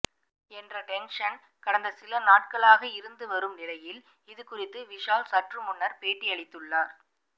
என்ற டென்ஷன் கடந்த சில நாட்களாக இருந்து வரும் நிலையில் இதுகுறித்து விஷால் சற்றுமுன்னர் பேட்டியளித்துள்ளார்